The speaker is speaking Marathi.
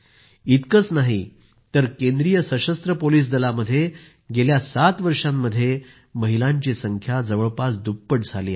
इतकंच नाही तर केंद्रीय सशस्त्र पोलिस दलामध्ये गेल्या सात वर्षांमध्ये महिलांची संख्या जवळपास दुप्पट झाली आहे